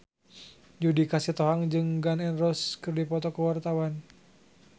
Judika Sitohang jeung Gun N Roses keur dipoto ku wartawan